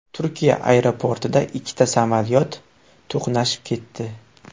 Turkiya aeroportida ikkita samolyot to‘qnashib ketdi.